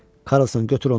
Karlson götür ondan.